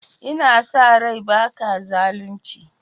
N'na sa rai ba ka zalunci?